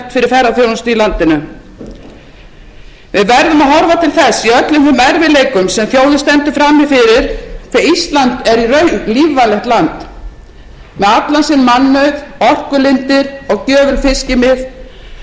ferðaþjónustu í landinu við verðum að horfa til þess í öllum þeim erfiðleikum sem þjóðin stendur frammi fyrir hvað ísland er í raun lífvænlegt land með allan sinn mannauð orkulindir og gjöful fiskimið öfluga matvælaframleiðslu og hátækniiðnað